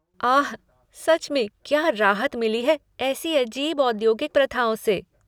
आह! सच मैं क्या राहत मिली है ऐसी अजीब औद्योगिक प्रथाओं से।